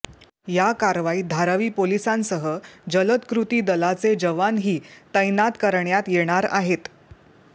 या कारवाईत धारावी पोलिसांसह जलद कृती दलाचे जवानही तैनात करण्यात येणार आहेत